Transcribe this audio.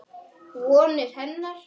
Vonir hennar.